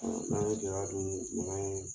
N'an ye kilaladun dun